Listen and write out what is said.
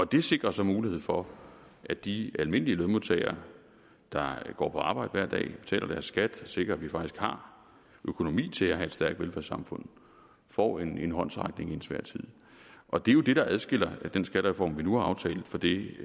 det sikrer så mulighed for at de almindelige lønmodtagere der går på arbejde hver dag betaler deres skat og sikrer at vi faktisk har økonomi til at have et stærkt velfærdssamfund får en håndsrækning i en svær tid og det er jo det der adskiller den skattereform vi nu har aftalt fra det